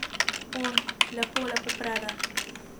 On: 'Lepo, lepo prede ...